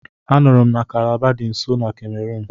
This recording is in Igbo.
Anụrụ m na Kalaba nọ na nso Kemerun.